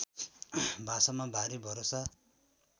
भाषामा भारी भरोसा